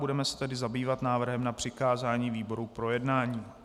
Budeme se tedy zabývat návrhem na přikázání výborům k projednání.